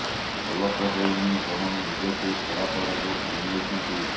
ଭଲ ତ ହେଉନି ବରଂ ନିଜକୁ ଖରାପ ଆଡକୁ ଟାଣିନେଉଛନ୍ତି